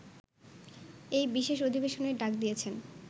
এই বিশেষ অধিবেশনের ডাক দিয়েছেন